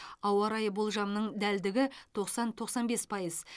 ауа райы болжамының дәлдігі тоқсан тоқсан бес пайыз